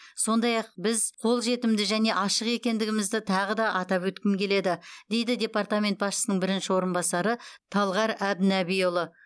сондай ақ біз қолжетімді және ашық екендігімізді тағы да атап өткім келеді дейді департамент басшысының бірінші орынбасары талғар әбдінәбиұлы